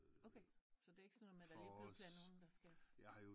Okay så det er ikke sådan noget med at der lige pludselig er nogen der skal